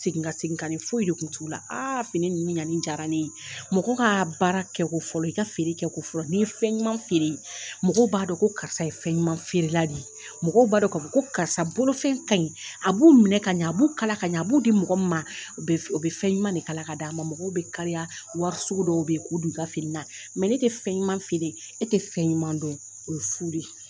seginka seginkani foyi de kun t'u la, , fini ninnu ɲanni diya ne ye, mɔgɔ ka baara kɛ fɔlɔ, i ka feere kɛ ko fɔlɔ, n'i ye fɛn ɲuman feere mɔgɔw b'a don ko karisa ye fɛn ɲuman feerela de ye, mɔgɔ b'adɔn k'a fɔ ko karisa bolofɛn ka ɲi , a b'u minɛ ka ɲan, a b'u kala ka ɲan, a b'u di mɔgɔ min ma o bɛ fɛn ɲuman de kala ka d' a ma, a bɛ fɛn ɲuman de kala ka d'ama, mɔgw bɛ kariya wari sugu dɔw bɛ yen k'o don i ka finina, mɛ n'i tɛ fɛn ɲuman feere, e tɛ fɛn ɲuman don, o ye fuu de ye!